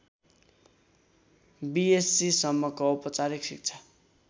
बिएस्सीसम्मको औपचारिक शिक्षा